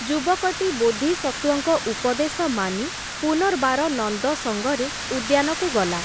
ଯୁବକଟି ବୋଧିସତ୍ତ୍ଵଙ୍କ ଉପଦେଶ ମାନି, ପୁନର୍ବାର ନନ୍ଦ ସଙ୍ଗରେ ଉଦ୍ୟାନକୁ ଗଲା ।